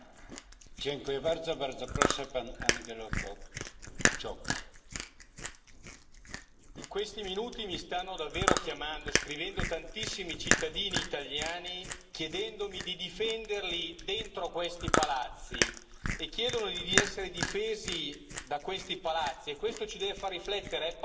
Signor Presidente, onorevoli colleghi, in questi minuti mi stanno davvero chiamando e scrivendo tantissimi cittadini italiani, chiedendomi di difenderli dentro questi palazzi e chiedono di essere difesi da questi palazzi e questo ci deve far riflettere, è pazzesco pensare